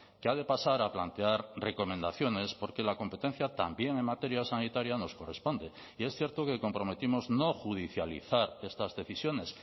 que ha de pasar a plantear recomendaciones porque la competencia también en materia sanitaria nos corresponde y es cierto que comprometimos no judicializar estas decisiones